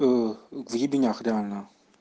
в ебенях реально